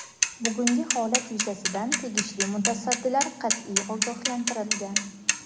bugungi holat yuzasidan tegishli mutasaddilar qat’iy ogohlantirilgan.